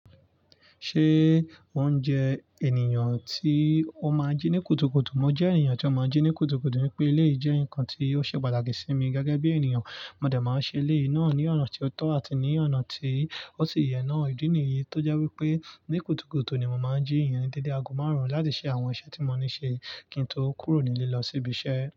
Ṣé ó ń jẹ ènìyàn tí ó máa ń jí ní kùtùkùtù? Mo jẹ́ ènìyàn tí ó máa ń jí ní kùtùkùtù ní pé eleyi jẹ́ nǹkan tí ó ṣe pàtàkì sí mi gẹ́gẹ́ bí ènìyàn. Mo dẹ̀ máa ṣe eléyi náà ní ọ̀nà tí ó tọ́ àti ní ọ̀nà tí ó sì yẹ náà. Ìdí nìyí tó jẹ́ wípé ní kùtùkùtù ni mo máa ń jí ìyẹn dédé ago márùn-ún láti ṣe àwọn iṣẹ́ tí mo ní ṣe, kí n tó kúrò nílé lọ sí ibi iṣẹ́.